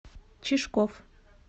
чижков